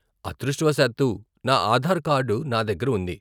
అదృష్టవశాత్తూ, నా ఆధార్ కార్డు నా దగ్గర ఉంది.